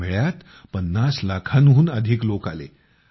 या मेळ्यात ५० लाखाहून अधिक लोक आले